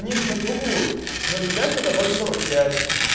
они же наебывают ноль пять это ноль сорок пять